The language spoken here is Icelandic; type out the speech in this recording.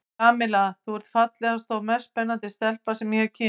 Kamilla, þú ert fallegasta og mest spennandi stelpa sem ég hef kynnst.